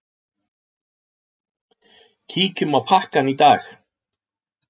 Kíkjum á pakkann í dag.